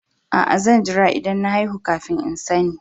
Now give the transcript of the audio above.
Aa, zan jira idan na haihu kafin n'sanni.